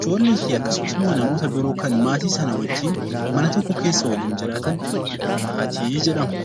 Ijoollee fi akkasumas immoo namoota biroo kan maatii sanaa wajjin mana tokko keessa waliin jiraatan 'Maatii' jedhamu.